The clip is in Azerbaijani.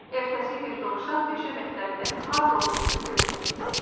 Ertəsi gün dovşan meşə məktəbinin harda olduğunu görməyə getdi.